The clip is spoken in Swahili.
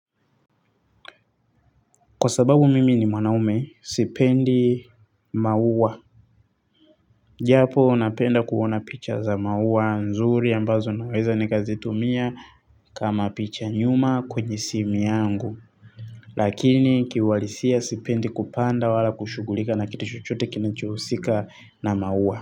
Kwa sababu mimi ni mwanaumme sipendi maua. Japo napenda kuona picha za maua nzuri ambazo naweza nikazitumia kama picha nyuma kwenye simu yangu. Lakini kiuhalisia sipendi kupanda wala kushugulika na kiti chochote kinachohusika na maua.